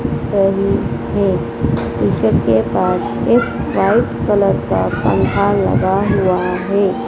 सही है ईश्वर के पास एक वाइट कलर का पंख लगा हुआ है।